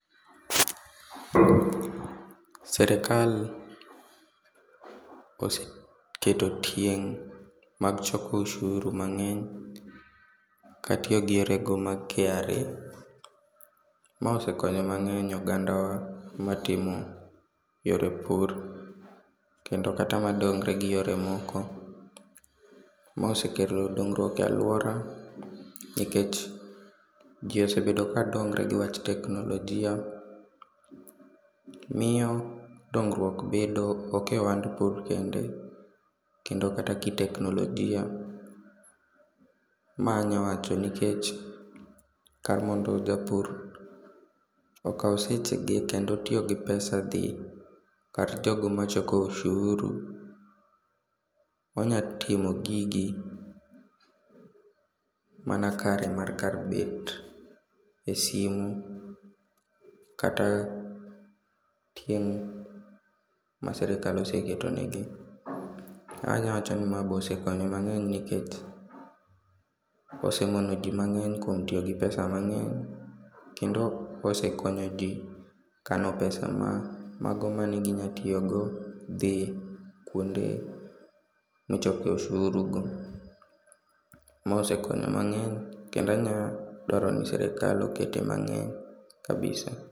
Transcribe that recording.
Serekal oseketo tieng' mag choko oshuru mangeny katiyo gi yore go mag KRA, ma osekonyo mangeny oganda wa matimo yore pur kendo kata madongre gi yore moko. Ma osekelo dongruok e aluora nikech jii osebedo kadongre gi wach teknolojia, miyo dongruok bedo, ok e ohand pur kende, kendo kata kiteknolojia, ma anya wacho nikech kar mondo japur okaw seche ge kendo tiyo gi pesa dhi kar jogo machoko osuru, onya timo gigi mana kare mar kar bet e simu kata tieng' ma sirkal oseketo ne gi. Anya wacho ni ma be osekonyo mangeny nikech osemono jii mangeny kuom tiyo gi pesa mangeny kendo osekonyo jii kano pesa mano ma ginya tiyo go dhi kuonde michoke ushuru go. Ma osekonyo mangeny kendo anya dwaro ni sirkal okete mangeny kabisa